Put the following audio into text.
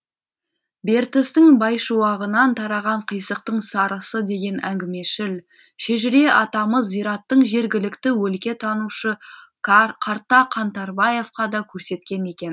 бертістің байшуағынан тараған қисықтың сарысы деген әңгімешіл шежіре атамыз зираттың жергілікті өлкетанушы қарта қаңтарбаевқа да көрсеткен екен